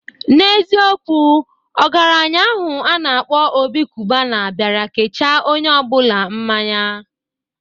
N'eziokwu, Ọgaranya ahụ a na-akpọ Obi Kubana bịara kecha onye ọbụla mmanya